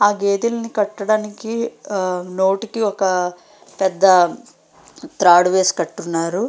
ఆ గేదని కట్టడానికి ఆ నోటికి ఒక పెద్ద తాడు వేసి కట్టారు.